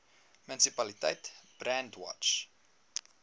munisipaliteit brandwatch